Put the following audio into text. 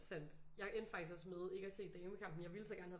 Sandt jeg endte faktisk også med ikke at se damekampen jeg ville så gerne have